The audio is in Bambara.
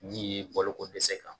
N ye balokodɛsɛ kan.